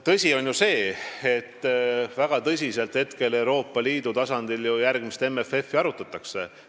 Tõsi on ju see, et väga tõsiselt Euroopa Liidu tasandil praegu järgmist MFF-i arutatakse.